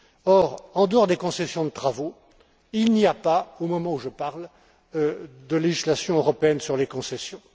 Or, en dehors des concessions de travaux, il n'y a pas, au moment où je parle, de législation européenne sur les concessions.